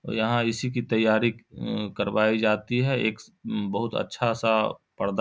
यहाँ इसी की तैयारी उम्म करवाई जाती है एक बहुत अच्छा-सा पर्दा --